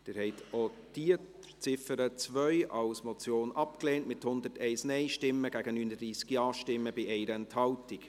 Sie haben die Ziffer 2 als Motion abgelehnt, mit 101 Nein- gegen 39 Ja-Stimmen bei 1 Enthaltung.